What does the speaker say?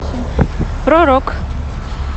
про рок